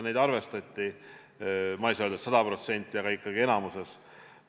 Neid arvestati, ma ei saa öelda, et sada protsenti, aga ikkagi enamikus.